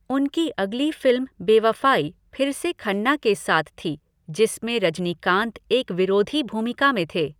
उनकी अगली फ़िल्म बेवफ़ाई फिर से खन्ना के साथ थी जिसमें रजनीकांत एक विरोधी भूमिका में थे।